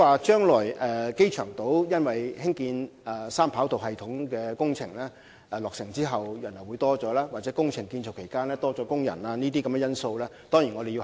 至於機場島將來因三跑道系統工程落成而導致人流增多，或工程建造期間工人數目增多等因素，我們當然會加以考慮。